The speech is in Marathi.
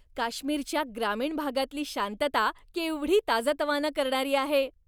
काश्मीरच्या ग्रामीण भागातली शांतता केवढी ताजंतवानं करणारी आहे.